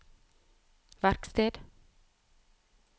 verksted